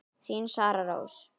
Þín Sara Rós.